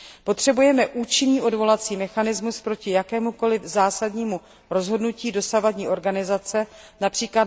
Potřebujeme účinný odvolací mechanismus proti jakémukoli zásadnímu rozhodnutí dosavadní organizace, např.